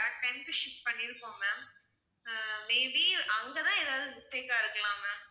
correct time க்கு ship பண்ணிருக்கோம் ma'am, ah may be அங்க தான் ஏதாவது mistake ஆ இருக்கலாம் ma'am